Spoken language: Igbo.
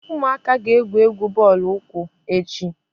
Ụmụaka ga- egwú egwu bọọlụ ụkwụ echi.